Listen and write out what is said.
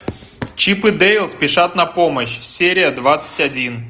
чип и дейл спешат на помощь серия двадцать один